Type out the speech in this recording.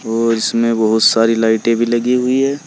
और इसमें बहोत सारी लाइटें भी लगी हुई है।